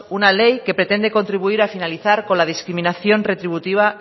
una ley que pretende contribuir a finalizar con la discriminación retributiva